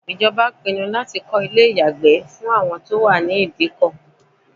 Ìjọba pinnu láti kọ́ ilé ìyàgbẹ́ fún àwọn tí ó wà ní Ìdíkọ̀.